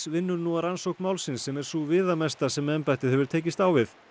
vinnur nú að rannsókn málsins sem er sú viðamesta sem embættið hefur tekist á við